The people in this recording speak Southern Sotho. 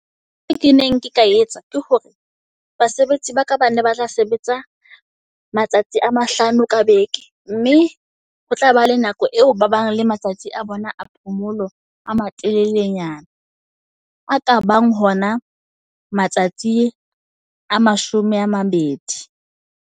Ntho eo ke neng ke ka etsa ke hore basebetsi ba ka ba ne ba tla sebetsa matsatsi a mahlano ka beke. Mme ho tla ba le nako eo ba bang le matsatsi a bona a phomolo a matelele nyana. A ka bang hona matsatsi a mashome a mabedi.